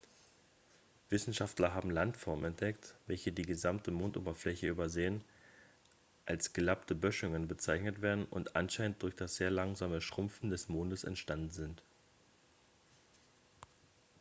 wissenschaftler haben landformen entdeckt welche die gesamte mondoberfläche übersäen als gelappte böschungen bezeichnet werden und anscheinend durch das sehr langsame schrumpfen des mondes entstanden sind